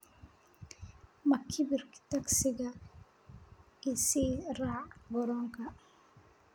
Makhribkii tagsi ii sii raac garoonka